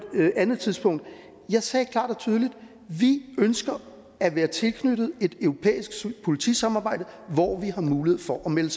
et andet tidspunkt jeg sagde klart og tydeligt at vi ønsker at være tilknyttet et europæisk politisamarbejde hvor vi har mulighed for at melde